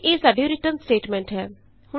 ਅਤੇ ਇਹ ਸਾਡੀ ਰਿਟਰਨ ਸਟੈਟਮੇਂਟ ਹੈ